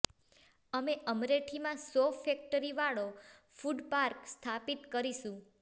અમે અમેઠીમાં સૌ ફેક્ટરી વાળો ફૂડ પાર્ક સ્થાપિત કરીશું